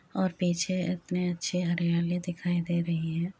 और पीछे इतनी अच्छी हरियाली दिखाई दे रही है।